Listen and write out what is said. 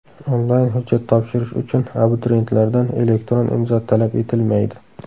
Onlayn hujjat topshirish uchun abituriyentlardan elektron imzo talab etilmaydi.